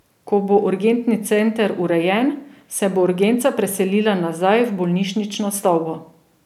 Ko bo urgentni center urejen, se bo urgenca preselila nazaj v bolnišnično stavbo.